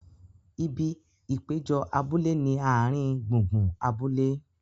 Ibi ìpéjọ abúlé ni ààrin gbùngbùn abúlé.